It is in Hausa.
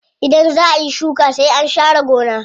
Idan zaa ayi shuka sai an sha re gona.